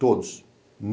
Todos.